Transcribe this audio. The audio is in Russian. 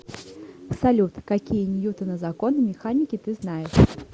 салют какие ньютона законы механики ты знаешь